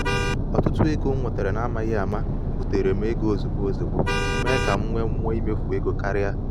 otutu ego m nwetara n’amaghị ama butere m ego ozugbo ozugbo mee ka ka m nwee mmụọ imefu ego karịa.